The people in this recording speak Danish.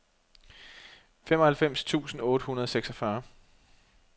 femoghalvfems tusind otte hundrede og seksogfyrre